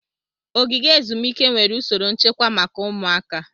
Ogige ezumike nwere usoro nchekwa maka ụmụaka.